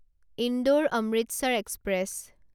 Indore Amritsar express